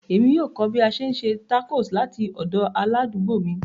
Emi yoo kọ bi a ṣe n se tacos lati ọdọ aladugbo mi.